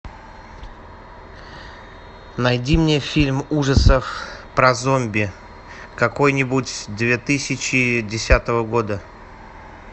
найди мне фильм ужасов про зомби какой нибудь две тысячи десятого года